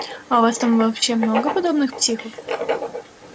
а у вас там вообще много подобных психов